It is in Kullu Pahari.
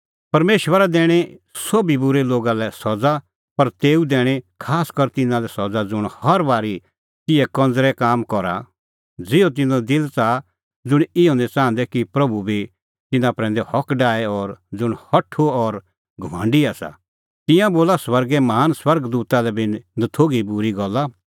परमेशरा दैणीं सोभी बूरै लोगा लै सज़ा पर तेऊ दैणीं खासकर तिन्नां लै सज़ा ज़ुंण हर बारी तिहै कंज़रै काम करा ज़िहअ तिन्नों दिल च़ाहा ज़ुंण इहअ निं च़ाहंदै कि प्रभू बी तिन्नां प्रैंदै हक डाहे और ज़ुंण हठू और घमंडी आसा तिंयां बोला स्वर्गे महान स्वर्ग दूता लै बी नथोघी बूरी गल्ला